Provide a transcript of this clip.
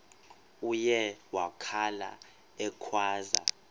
uye wakhala ekhwaza